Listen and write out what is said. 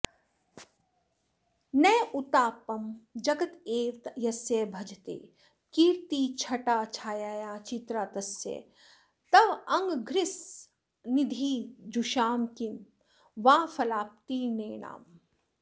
नोत्तापं जगदेव यस्य भजते कीर्तिच्छटाच्छायया चित्रा तस्य तवाङ्घ्रिसन्निधिजुषां किं वा फलाप्तिर्नेणाम्